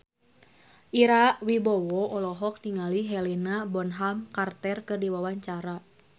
Ira Wibowo olohok ningali Helena Bonham Carter keur diwawancara